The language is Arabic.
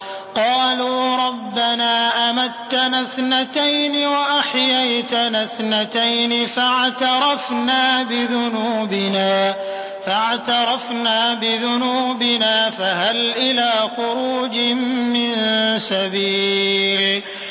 قَالُوا رَبَّنَا أَمَتَّنَا اثْنَتَيْنِ وَأَحْيَيْتَنَا اثْنَتَيْنِ فَاعْتَرَفْنَا بِذُنُوبِنَا فَهَلْ إِلَىٰ خُرُوجٍ مِّن سَبِيلٍ